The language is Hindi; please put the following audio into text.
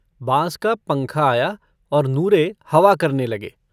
बाँस का पंखा आया और नूरे हवा करने लगे।